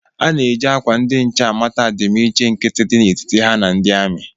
A na-eji akwa ndi nche amata adimiiche nkiti dị na etiti ha na ndị ami